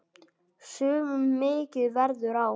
Sumum mikið verður á.